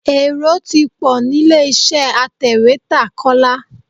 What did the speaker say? Èrò ti pọ̀ nílé-iṣẹ́ atẹ̀wétà Kọ́lá.